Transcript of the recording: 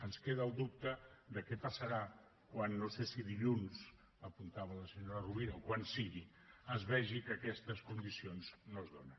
ens queda el dubte de què passarà quan no sé si dilluns com apuntava la senyora rovira o quan sigui es vegi que aquestes condicions no es donen